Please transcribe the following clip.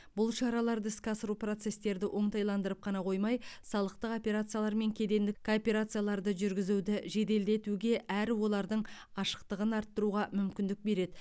бұл шараларды іске асыру процестерді оңтайландырып қана қоймай салықтық операциялар мен кедендік кооперацияларды жүргізуді жеделдетуге әрі олардың ашықтығын арттыруға мүмкіндік береді